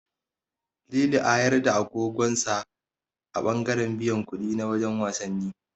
Lili a yarda agogon hannun sa a ɓangaren biyan kuɗi na wajen wasannin.